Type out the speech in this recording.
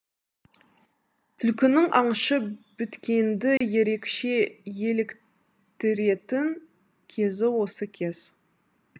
түлкінің аңшы біткенді ерекше еліктіретін кезі осы кез